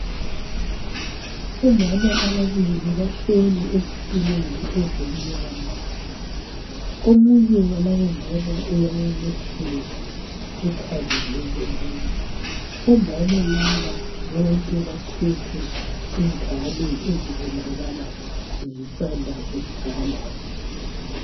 Omama ababili bahleli ezitulweni ezimnyama, omunye walabo mama uyabobotheka ,ukhangele komunye. Omama laba bonke baphethe ingane ezibonakala zisanda kuzalwa.